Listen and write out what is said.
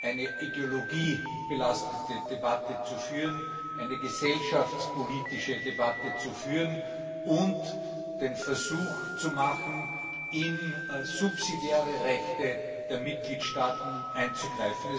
eine ideologiebelastete Debatte zu führen, eine gesellschaftspolitische Debatte zu führen und den Versuch zu machen, in subsidiäre Rechte der Mitgliedstaaten einzugreifen.